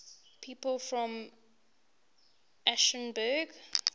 people from aschaffenburg